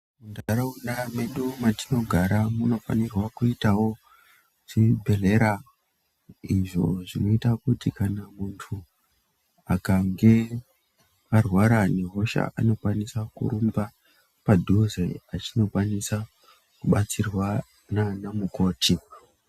Muntaraunda medu matinogara munofanirwa kuitawo chibhedhlera, izvo zvinoita kuti kana muntu akange arwara nehosha anokwanisa kurumba padhuze achinokwanisa kubatsirwa nanamukoti.